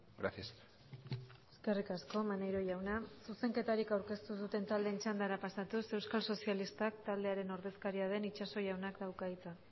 gracias eskerrik asko maneiro jauna zuzenketarik aurkeztu ez duten taldeen txandara pasatuz euskal sozialistak taldearen ordezkaria den itxaso jaunak dauka hitza